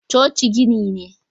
coci gini ne